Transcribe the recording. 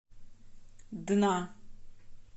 дна